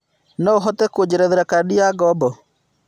No ũhote kũjerethera kandĩ ya ngombo